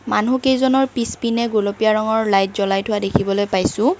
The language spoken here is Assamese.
মানুহকেইজনৰ পিছপিনে গোলপীয়া ৰঙৰ লাইট জ্বলাই থোৱা দেখিবলৈ পাইছোঁ।